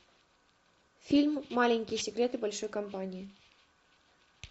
фильм маленькие секреты большой компании